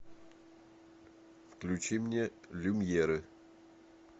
включи мне люмьеры